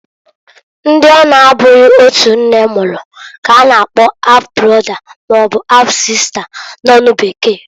Ndi ọ na -abụghi otu nne mụrụ k'a na-akpo half brother maọbụ half-sister n'onu bekee.